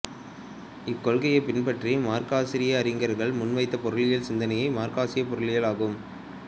இக்கொள்கையைப் பின்பற்றிய மார்க்சிய அறிஞர்கள் முன்வைத்த பொருளியல் சிந்தனைகள் மார்க்சியப் பொருளியல் ஆகும்